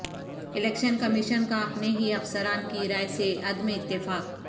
election commission کا اپنے ہی افسران کی رائے سے عدم اتفاق